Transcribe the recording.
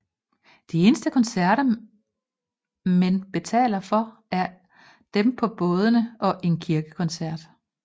De eneste koncerter men betaler for er dem på bådene og en kirkekoncert